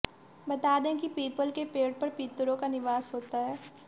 बता दें कि पीपल के पेड़ पर पितरों का निवास होता है